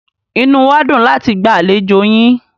Inú wá dùn láti gba àlejò yín.